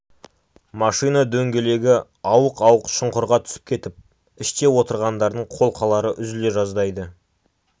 машина дөңгелегі ауық-ауық шұңқырға түсіп кетіп іште отырғандардың қолқалары үзіле жаздайды